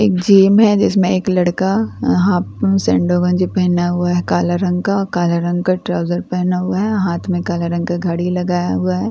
एक जिम है जिसमें एक लड़का अ हाफ़ सैंडों गंजी पहना हुआ है काले रंग का काले रंग का ट्राउसर पहना हुआ है हाथ में काले रंग का घड़ी लगाया हुआ है और --